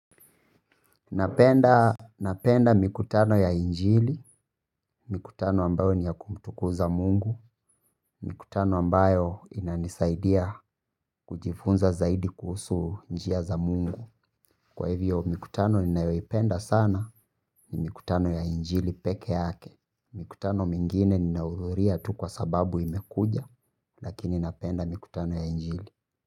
Napenda mkutano ya injili, mikutano ambayo ni ya kumtukuza mungu, mikutano ambayo inanisaidia kujifunza zaidi kuhusu njia za mungu. Kwa hivyo mkutano ninayoipenda sana ni mkutano ya injili peke yake. Mikutano mingine ninahudhuria tu kwa sababu imekuja lakini napenda mikutano ya injili.